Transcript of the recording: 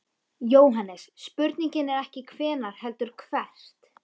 JÓHANNES: Spurningin er ekki hvenær heldur hvert.